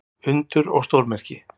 Undur og stórmerki.